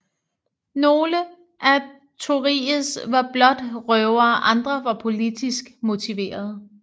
Nogle af Tories var blot røvere andre var politisk motiverede